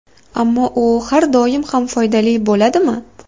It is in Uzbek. Ammo u har doim ham foydali bo‘ladimi?